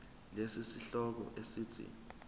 lesi sihloko esithi